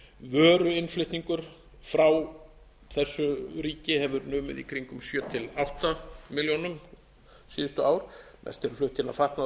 vöruinnflutningur frá þessu ríki hefur numið í kringum sjö til átta milljónum síðustu ár mest er flutt inn af fatnaði og